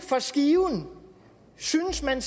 for skiven synes man